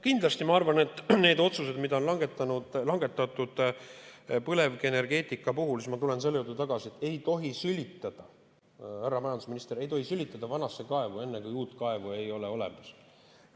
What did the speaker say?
Kindlasti, need otsused, mis on langetatud põlevkivienergeetika puhul – ma tulen selle juurde tagasi, et ei tohi sülitada, härra majandusminister, vanasse kaevu, kui uut kaevu ei ole olemas.